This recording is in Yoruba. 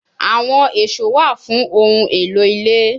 Awọn eso wa fun ohun elo ile